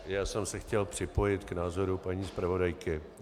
Já jsem se chtěl připojit k názoru paní zpravodajky.